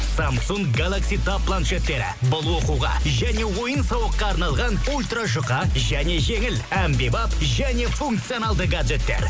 самсунг гэлакси таб планшеттері бұл оқуға және ойын сауыққа арналған ультра жұқа және жеңіл әмбебап және функционалды гаджеттер